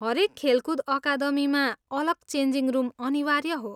हरेक खेलकुद अकादमीमा अलग चेन्जिङ रुम अनिवार्य हो।